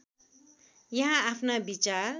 यहाँ आफ्ना विचार